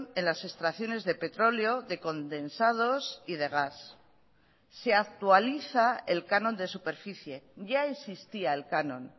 en las extracciones de petróleo de condensados y de gas se actualiza el canon de superficie ya existía el canon